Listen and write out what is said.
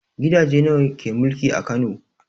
Gidaje nawa ke mulki a Kano?